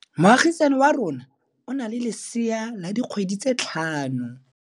Moagisane wa rona o na le lesea la dikgwedi tse tlhano.